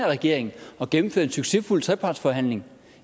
regering at gennemføre en succesfuld trepartsforhandling